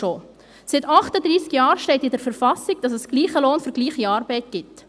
Seit 38 Jahren steht in der Verfassung dass es gleichen Lohn für gleiche Arbeit gibt.